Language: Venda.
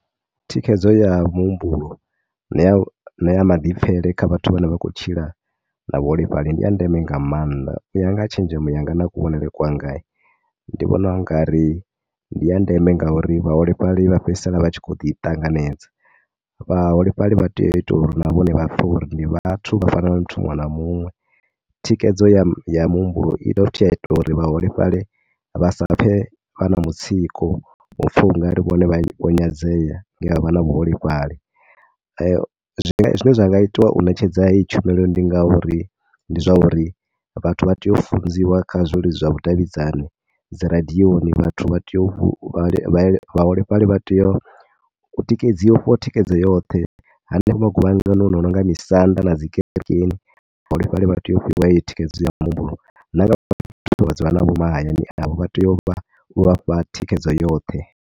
Thikhedzo ya muhumbulo na ya, na ya maḓipfhele kha vhathu vhane vha khou tshila na vhaholefhali ndi ya ndeme nga maanḓa. U ya nga tshenzhemo yanga na kuvhonele kwanga ndi vhona u nga ri ndi ya ndeme ngauri vhaholefhali vha fhedzisela vha tshi khou ḓiṱanganedza. Vhaholefhali vha tea u itiwa uri na vhone vha pfhe uri na vhone ndi vhathu vhane vha fana na muthu muṅwe na muṅwe. Thikhedzo ya ya muhumbulo i dovha hafhu ya ita uri vhaholefhali vha sa pfe vha na mutsiko wa u pfha u nga ri vhone vho nyadzea nge vha vha na vhuholefhali. Zwine zwi nga itiwa u ṋetshedza heyi tshumelo ndi nga uri, ndi zwa uri vhathu vha tea u funziwa kha zwi zwa vhudavhidzani, dzi radioni vhathu vha tea u, vhaholefhali vha tea u tikedziwa, u fhiwa thikhedzo yoṱhe. Ha nea maguvhanganoni a no nga misanda na dzi kerekeni, vhaholefhali vha tea u fhiwa heyi thikhedzo ya muhumbulo na nga vhathu vhane vha dzula navho mahayani, vha tea u vha fha thikhedzo yoṱhe.